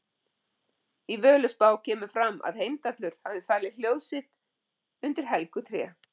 Í Völuspá kemur fram að Heimdallur hafi falið hljóð sitt undir helgu tré.